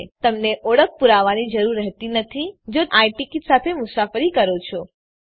અલબત્ત તમને ઓળખ પુરાવાની જરૂર રહેતી નથી જો તમે આઈ ટીકીટ સાથે મુસાફરી કરો છો